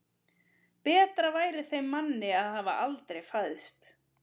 Betra væri þeim manni að hafa aldrei fæðst.